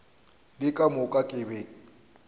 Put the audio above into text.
le ka moka ke be